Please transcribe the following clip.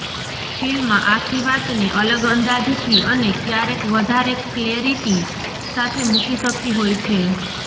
film આખી વાતને અલગ અંદાજથી અને ક્યારેક વધારે ક્લેરિટી સાથે મૂકી શકતી હોય છે